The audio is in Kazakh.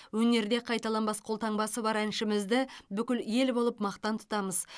өнерде қайталанбас қолтаңбасы бар әншімізді бүкіл ел болып мақтан тұтамыз